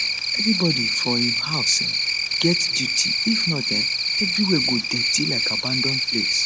everybody for um house um get duty if not um everywhere go dirty like abanAcceptedd place